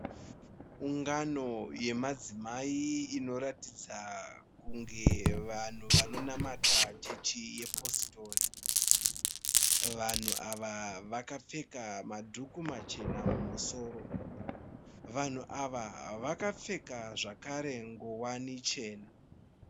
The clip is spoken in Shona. Ungano yemadzimai inoratidza kunge vanhu vanonamata chechi yepositori. vanhu ava vakapfeka madhuku machena mumusoro, vanhu ava vakapfeka zvakare ngowani chena.